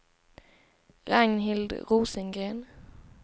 Ragnhild Rosengren